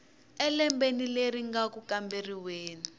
elembeni leri nga ku kamberiweni